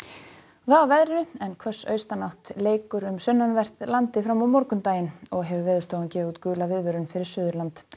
veðri en hvöss austanátt leikur um sunnanvert landið fram á morgundaginn og hefur Veðurstofan gefið út gula viðvörun fyrir Suðurland